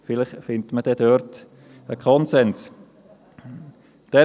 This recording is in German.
Vielleicht wird dort ein Konsens gefunden.